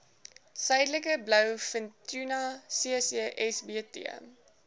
suidelike blouvintuna ccsbt